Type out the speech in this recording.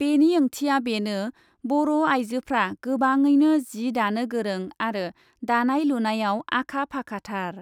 बेनि ओंथिया बेनो बर ' आइजोफ्रा गोबाडैनो जि दानो गोरों आरो दानाय लुनायाव आखा फाखाथार ।